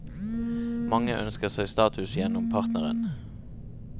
Mange ønsker seg status gjennom partneren.